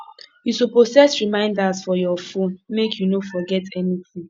you suppose set reminders for your phone make you no forget anytin